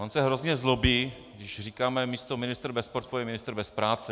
On se hrozně zlobí, když říkáme místo ministr bez portfeje ministr bez práce.